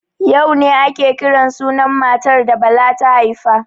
Yau ne ake kiran sunan matar da Bala ta haifa.